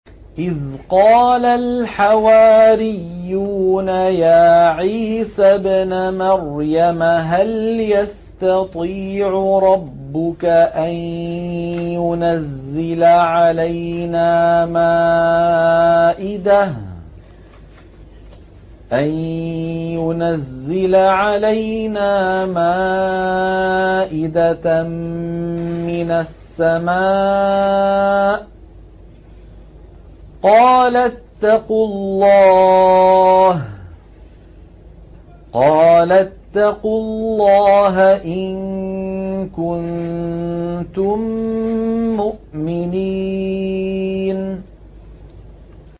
إِذْ قَالَ الْحَوَارِيُّونَ يَا عِيسَى ابْنَ مَرْيَمَ هَلْ يَسْتَطِيعُ رَبُّكَ أَن يُنَزِّلَ عَلَيْنَا مَائِدَةً مِّنَ السَّمَاءِ ۖ قَالَ اتَّقُوا اللَّهَ إِن كُنتُم مُّؤْمِنِينَ